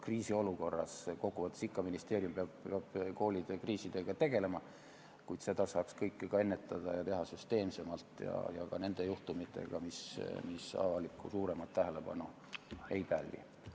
Kriisiolukorras peab ministeerium ikka koolidega tegelema, kuid seda saaks kõike ju ennetada, teha süsteemsemalt ja tegelda ka nende juhtumitega, mis suuremat avalikku tähelepanu ei pälvi.